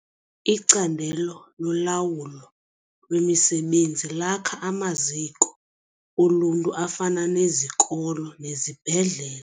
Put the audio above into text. Icandelo lolawulo lwemisebenzi lakha amaziko oluntu afana nezikolo nezibhedlele.